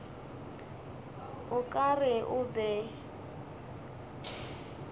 o ka re o be